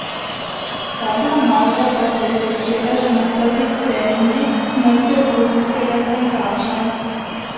Vsa blamaža pa se je začela že na prvih treningih s smrtjo gruzijskega sankača.